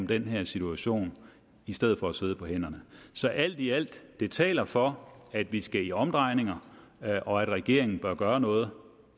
den her situation i stedet for at sidde på hænderne så alt i alt det taler for at vi skal i omdrejninger og at regeringen bør gøre noget